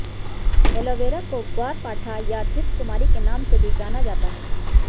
aloe vera को ग्वार पाठा या धृतकुमारी के नाम से भी जाना जाता है